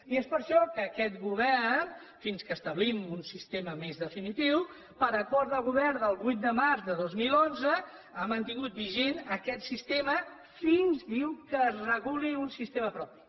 i és per això que aquest govern fins que establim un sistema més definitiu per acord de govern del vuit de març de dos mil onze ha mantingut vigent aquest sistema fins diu que es reguli un sistema propi